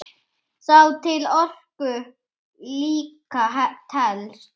Sá til orku líka telst.